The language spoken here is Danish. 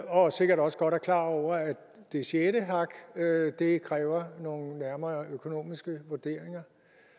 og sikkert også godt er klar over at det sjette hak kræver nogle nærmere økonomiske vurderinger